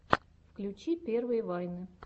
включи первые вайны